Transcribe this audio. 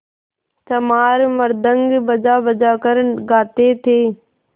चमार मृदंग बजाबजा कर गाते थे